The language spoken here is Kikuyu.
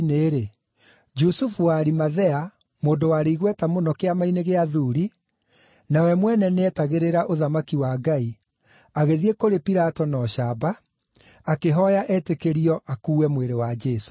Jusufu wa Arimathea, mũndũ warĩ igweta mũno Kĩama-inĩ gĩa athuuri, na we mwene nĩeetagĩrĩra ũthamaki wa Ngai, agĩthiĩ kũrĩ Pilato na ũcamba, akĩhooya etĩkĩrio akuue mwĩrĩ wa Jesũ.